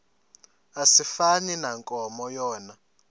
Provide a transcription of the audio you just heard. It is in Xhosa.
asifani nankomo yona